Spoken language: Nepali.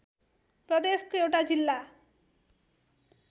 प्रदेशको एउटा जिल्ला